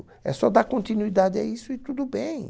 É só dar continuidade a isso e tudo bem.